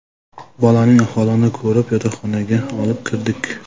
Bolaning ahvolini ko‘rib yotoqxonaga olib kirdik.